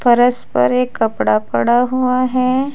फरश पर एक कपड़ा पड़ा हुआ है।